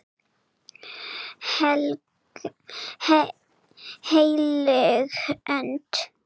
HEILÖG ÖND